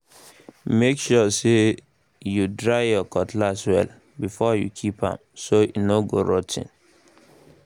make sure say you dry your cutlass well before you keep am so e no go rot ten